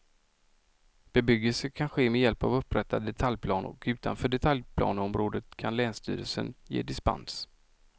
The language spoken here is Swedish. Bebyggelse kan ske med hjälp av upprättad detaljplan och utanför detaljplaneområde kan länsstyrelsen ge dispens.